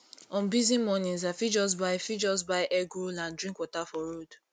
on busy mornings i fit just buy fit just buy egg roll and drink water for road